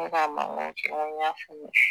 Ko k'a mangan kɛ n ko n y'a faamuya